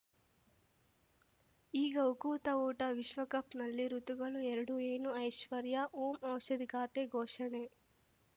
ಈಗ ಉಕುತ ಊಟ ವಿಶ್ವಕಪ್‌ನಲ್ಲಿ ಋತುಗಳು ಎರಡು ಏನು ಐಶ್ವರ್ಯಾ ಓಂ ಔಷಧಿ ಖಾತೆ ಘೋಷಣೆ